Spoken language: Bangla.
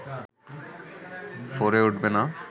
ফোরে উঠবে না